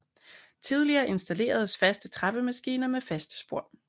Tidligere installeredes faste trappemaskiner med faste spor